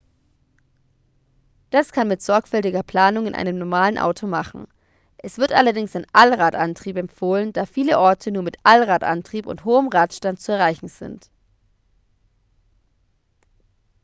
das kann man mit sorgfältiger planung in einem normalen auto machen es wird allerdings dringend ein allradantrieb empfohlen da viele orte nur mit allradantrieb und hohem radstand zu erreichen sind